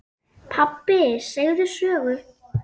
Pabbi segðu sögu.